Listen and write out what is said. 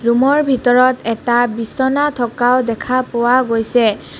Room ৰ ভিতৰত এটা বিছনা থকাও দেখা পোৱা গৈছে.